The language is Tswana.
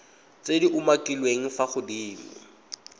tse di umakiliweng fa godimo